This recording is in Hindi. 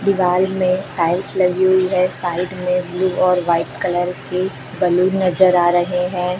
दीवाल में टाइल्स लगी हुई है साइड में ब्लू और वाइट कलर के बैलून नजर आ रहे हैं।